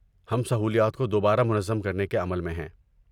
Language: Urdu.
ہم سہولیات کو دوبارہ منظم کرنے کے عمل میں ہیں۔